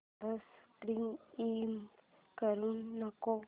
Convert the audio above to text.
subscribe करू नको